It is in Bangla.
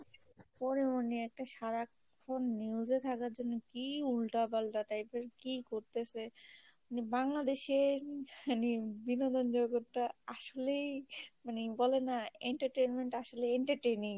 পরে মনে সারাক্ষন একটা news এ থাকার জন্য কি একটা উল্টাপাল্টা type এর কি করতেছে নিয়ে বাংলাদেশে বিনোদন জগৎটা আসলেই মানে বলে না entertainment আসলে entertaining